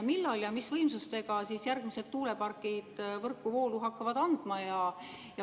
Millal ja mis võimsustega järgmised tuulepargid võrku voolu hakkavad andma?